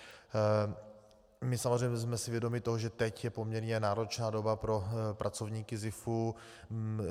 My samozřejmě jsme si vědomi toho, že teď je poměrně náročná doba pro pracovníky SZIFu.